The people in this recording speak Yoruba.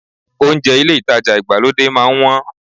Ohunjẹ́ ilé ìtajà ìgbàlódé máa ń wọ́n